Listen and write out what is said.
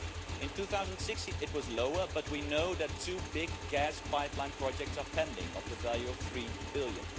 In 2016 it was lower, but we know that two big gas pipeline projects are pending to the value of EUR 3 billion.